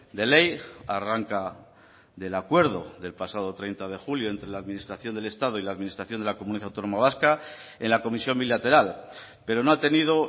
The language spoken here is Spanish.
de ley arranca del acuerdo del pasado treinta de julio entre la administración del estado y la administración de la comunidad autónoma vasca en la comisión bilateral pero no ha tenido